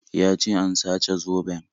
Ya ce an sace zoben